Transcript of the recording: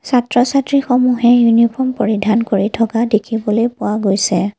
ছাত্ৰ ছাত্ৰী সমূহে ইউনিফৰ্ম পৰিধান কৰি থকা দেখিবলৈ পোৱা গৈছে।